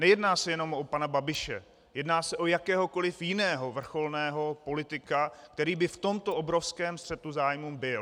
Nejedná se jenom o pana Babiše, jedná se o jakéhokoliv jiného vrcholného politika, který by v tomto obrovském střetu zájmů byl.